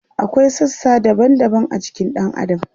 akwai sassa daban daban a jikin ɗan adam